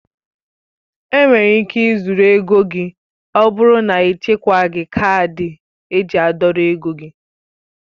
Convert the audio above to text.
Enwere ike ị zurụ ego gị ọbụrụ na ichekwaghi kaadị eji a dọrọ ego gị.